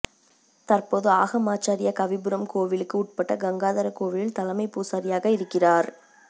தற்போது ஆகமாச்சாரியா கவிபுரம் கோவிலுக்கு உட்பட்ட கங்காதர கோவிலில் தலைமை பூசாரியாக இருக்கிறார்